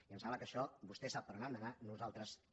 i em sembla que això vostè sap per on han d’anar i nosaltres també